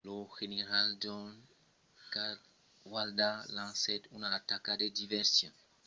lo general john cadwalder lancèt una ataca de diversion contra la garnison britanica a bordentown pr’amor de blocar tota possibilitat de renfòrces